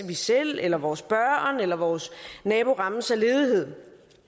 vi selv eller vores børn eller vores nabo rammes af ledighed